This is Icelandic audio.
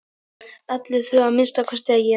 Allir þurfa að minnsta kosti að éta.